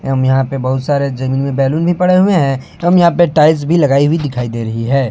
एवं यहां पे बहुत सारे जमीन में बैलून भी पड़े हुए हैं एवं यहां पे टाइल्स भी लगाई हुई दिखाई दे रही है।